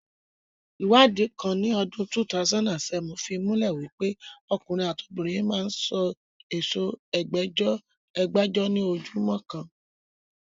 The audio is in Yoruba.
Iwadi kan ni odun 2007 fi mule wipe okunrin ati obinrin maa n so oro Ẹgbajọ, ẹgbàájọ ni ojumo kan.